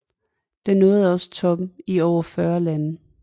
Den nåede også toppen i over 40 lande